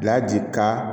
Bila ji ka